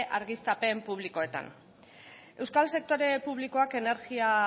argiztapen publikoetan euskal sektore publikoak energia